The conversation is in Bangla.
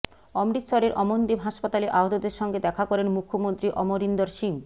অমৃতসরের অমনদীপ হাসপাতালে আহতদের সঙ্গে দেখা করেন মুখ্যমন্ত্রী অমরিন্দর সিং